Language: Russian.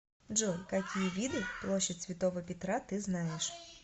джой какие виды площадь святого петра ты знаешь